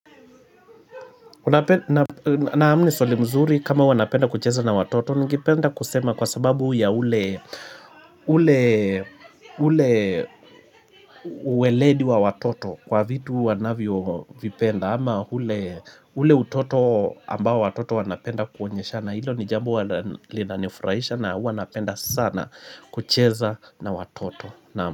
Naamini swali mzuri kama huwa napenda kucheza na watoto ningependa kusema kwa sababu ya ule ule ule ule uweledi wa watoto kwa vitu wanavyo vipenda ama ule ule utoto ambao watoto wanapenda kuonyeshana hilo ni jambo linanifurahisha na huwa napenda sana kucheza na watoto na.